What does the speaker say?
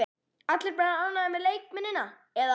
Allir bara ánægðir með leikmennina eða?